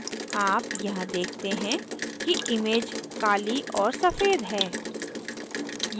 आप यहाँ देखते हैं कि image काली और सफेद है